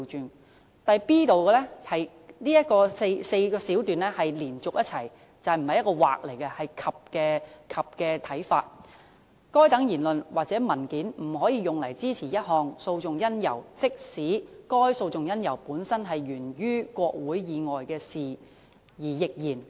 至於 b 段，文件第3段以下的4小段是要連續一起去讀，不是用"或"，而是"及"的角度去理解，當中指出"該等言論或文件不可用於支持一項訴訟因由，即使該訴訟因由本身是源於國會以外的事宜亦然"。